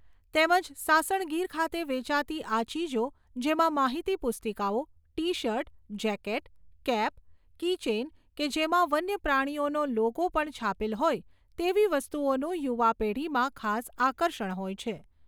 તેમજ સાસણ ગીર ખાતે વેચાતી આ ચીજો જેમાં માહિતી પુસ્તિકાઓ, T shirt, jacket, cap, keychain કે જેમાં વન્યપ્રાણીઓનો લોગો પણ છાપેલ હોય તેવી વસ્તુઓનું યુવા પેઢીમાં ખાસ આકર્ષણ હોય છે.